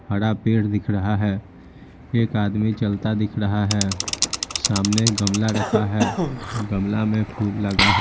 हरा पेड़ दिख रहा है एक आदमी चलता दिख रहा है सामने गमला रखा है गमला में फूल लगा है।